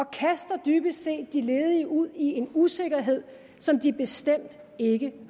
kaster dybest set de ledige ud i en usikkerhed som de bestemt ikke